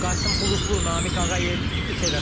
Qasım Xuluflu, Namiq Ağayev, ITV Xəbər.